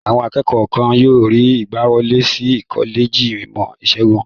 Àwọn akẹ́kọ̀ọ́ kọ̀ọ̀kan yóò rí ìgbàwọlé sí kọ́lẹ́jì ìmọ̀-ìṣègùn.